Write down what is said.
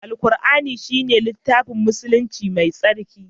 Alqur'ani shine littafin musulunci mai tsarki.